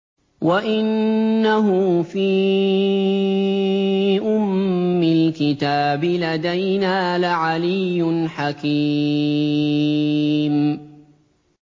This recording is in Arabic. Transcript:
وَإِنَّهُ فِي أُمِّ الْكِتَابِ لَدَيْنَا لَعَلِيٌّ حَكِيمٌ